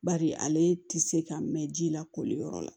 Bari ale tɛ se ka mɛn ji la koli yɔrɔ la